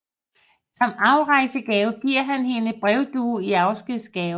Som afrejsegave giver han hende en brevdue i afskedsgave